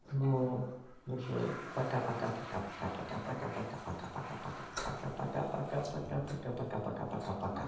ну уже пока пока пока пока пока пока пока пока пока пока пока пока пока пока пока пока пока пока пока пока